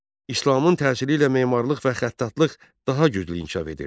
İslamın təsiri ilə memarlıq və xəttatlıq daha güclü inkişaf edirdi.